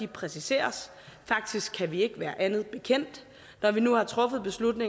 præciseres faktisk kan vi ikke være andet bekendt når vi nu har truffet beslutningen